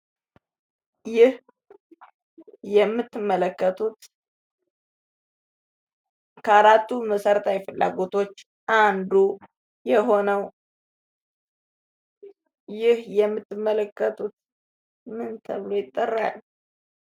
ይህ የምትመለከቱት ከአራቱ መሰረታዊ ፍላጎቶች ዉስጥ አንዱ የሆነው ፤ ይህ የምትመለከቱት ምን ተብሎ ይጠራል?